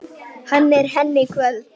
Hann er henni kvöl.